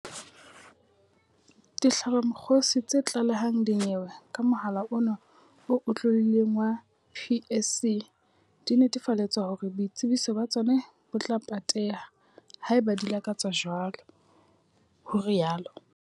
Dihlabamokgosi tse tla lehang dinyewe ka mohala ona o otlolohileng wa PSC di netefaletswa hore boitsebiso ba tsona bo tla pateha, haeba di lakatsa jwalo, ho rialo.